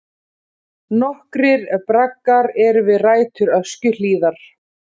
Nokkrir braggar eru við rætur Öskjuhlíðar.